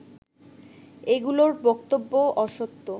এগুলোর বক্তব্যও অসত্য